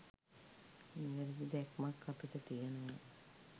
නිවැරදි දැක්මක් අපිට තියෙනවා.